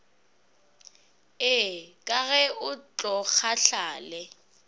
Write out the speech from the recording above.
ee ka ge o tlokgahlale